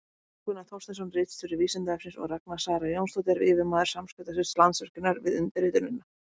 Jón Gunnar Þorsteinsson, ritstjóri Vísindavefsins, og Ragna Sara Jónsdóttir, yfirmaður samskiptasviðs Landsvirkjunar, við undirritunina.